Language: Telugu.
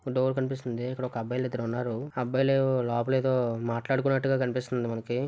ఒక డోర్ కనిపిస్తుంది. ఇక్కడ ఒక అబ్బాయిలు ఇద్దరు ఉన్నారు. ఆ అబ్బాయిలు లోపలేదో మాట్లాడుకున్నట్టగా కనిపిస్తుంది మనకి.